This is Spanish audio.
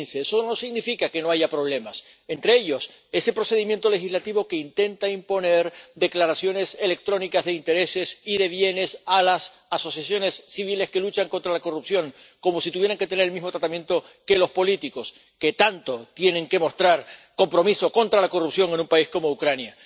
2015. Eso no significa que no haya problemas. Entre ellos, ese procedimiento legislativo que intenta imponer declaraciones electrónicas de intereses y de bienes a las asociaciones civiles que luchan contra la corrupción, como si tuvieran que tener el mismo tratamiento que los políticos, que tanto compromiso tienen que mostrar contra la corrupción en un país como Ucrania.